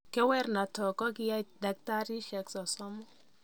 Kerwrenotok kokiyaei daktarisiek sosomu.